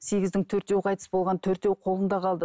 сегіздің төртеуі қайтыс болған төртеуі қолында қалды